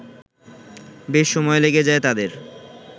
বেশ সময় লেগে যায় তাদের